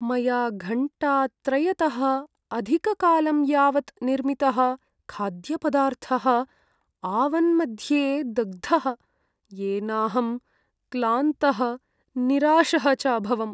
मया घण्टात्रयतः अधिककालं यावत् निर्मितः खाद्यपदार्थः आवन् मध्ये दग्धः, येनाहं क्लान्तः निराशः च अभवम्।